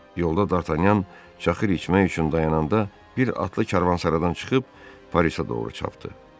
Yolda Dartanyan çaxır içmək üçün dayananda bir atlı karvansaradan çıxıb Parisə doğru çapdı.